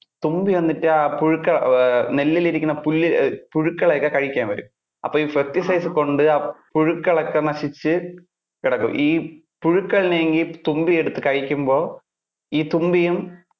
തുമ്പി വന്നിട്ട് ആ പുഴുക്ക~ അഹ് നെല്ലിൽ ഇരിക്കുന്ന പുല്ല്~ ഏർ പുഴുക്കളെ ഒക്കെ കഴിക്കാൻ വരും. അപ്പൊ pesticides കൊണ്ട് ആ പുഴുക്കൾ ഒക്കെ നശിച്ചു കിടക്കും. ഈ പുഴുക്കളെ ഇനി ആ തുമ്പി എടുത്ത് കഴിക്കുമ്പോൾ, ഈ തുമ്പിയും